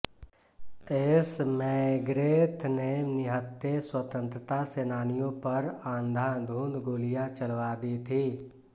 S McGrath ने निहत्थे स्वतंत्रता सेनानियों पर अंधाधुंध गोलियां चलवा दी थी